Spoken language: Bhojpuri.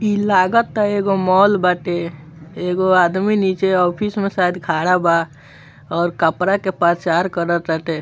इ लगता एगो मॉल बाटे | एगो आदमी नीचे ऑफिस में शायद खड़ा बा और कपड़ा के प्रचार कर टाटे |